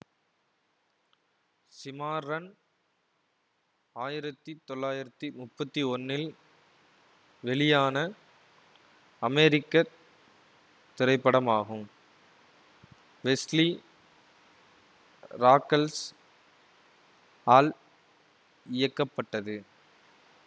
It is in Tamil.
சிமார்ரன் ஆயிரத்தி தொள்ளாயிரத்தி முப்பத்தி ஒன்னில் வெளியான அமெரிக்க திரைப்படமாகும் வெஸ்லி ராக்கல்ஸ் ஆல் இயக்கப்பட்டது